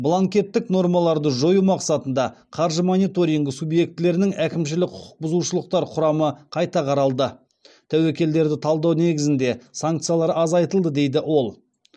бланкеттік нормаларды жою мақсатында қаржы мониторингі субъектілерінің әкімшілік құқық бұзушылықтар құрамы қайта қаралды тәуекелдерді талдау негізінде санкциялар азайтылды дейді ол